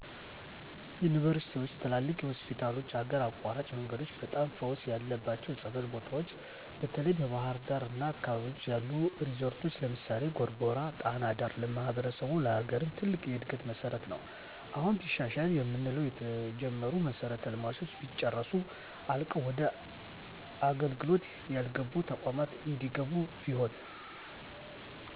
ዩንቨርስቲዎች፣ ትላልቅ ሆስፒታሎች፣ ሀገር አቋራጭ መንገዶች፣ በጣም ፈውስ ያለባቸው ፀበል ቦታዎች፣ በተለይ በባሕር ዳር አና አካባቢዋ ያሉ ሪዞረቶች ለምሳሌ፦ ጎርጎራ ጣና ዳር ለማሕበረሰቡም ለሀገርም ትልቅ የእድገት መሠረት ነው። አሁን ቢሻሻል የምንለው የተጀመሩ መሠረተ ልማቶች ቢጨረሱ፣ አልቀው ወደ አገልግሎት ያልገቡ ተቋማት እንዲገቡ ቢሆን።